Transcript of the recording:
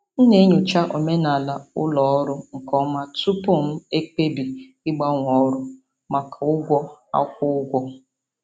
M na-enyocha omenala ụlọ ọrụ nke ọma tupu m ekpebi ịgbanwe ọrụ maka ụgwọ akwụ ụgwọ.